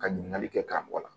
Ka ɲininkali kɛ ka mɔgɔ la